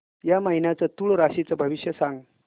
या महिन्याचं तूळ राशीचं भविष्य सांग